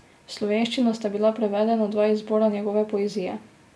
V slovenščino sta bila prevedena dva izbora njegove poezije.